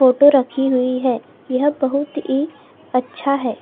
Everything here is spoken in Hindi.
फोटो रखी हुई है यहाँ बहुत ही अच्छा है।